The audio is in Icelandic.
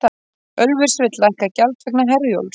Ölfus vill lækka gjald vegna Herjólfs